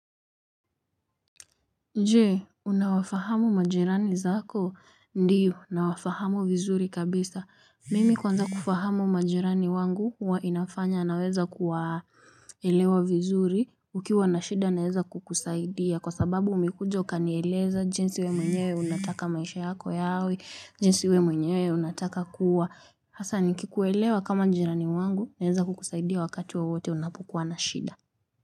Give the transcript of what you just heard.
Je, unawafahamu majirani zako? Ndiyo, nawafahamu vizuri kabisa. Mimi kwanza kufahamu majerani wangu huwa inafanya naweza kuwaelewa vizuri. Ukiwa na shida naweza kukusaidia. Kwa sababu umekuja ukanieleza jinsi wewe mwenyewe unataka maisha yako yawe, jinsi wewe mwenyewe unataka kuwa. Hasa nikikuelewa kama jirani wangu, naweza kukusaidia wakati wowote unapokuwa na shida.